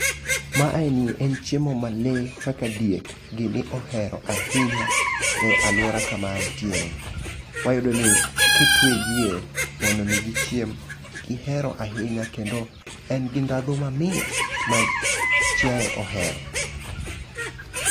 Maeni en chiemo ma lee kaka diek gini ohero ahinya e aluora kama antiere. Wayudo ni kitwe diek mondo mi gichiem, gihero ahinya kendo en gi ndhadhu ma mit ma chaiye ohero.